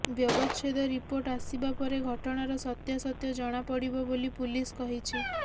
ବ୍ୟବଚ୍ଛେଦ ରିପୋର୍ଟ ଆସିବା ପରେ ଘଟଣାର ସତ୍ୟାସତ୍ୟ ଜଣାପଡ଼ିବ ବୋଲି ପୁଲିସ କହିଛି